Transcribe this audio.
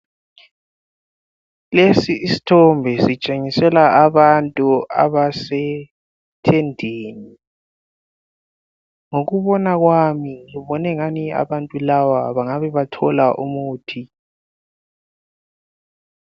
Lesi isthombe sitshengisela abantu abasetendeni. Ngokubona kwami, ngibonengani abantu laba bangabe bathola umuthi.